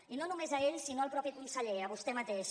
i no només a ells sinó al mateix conseller a vostè mateix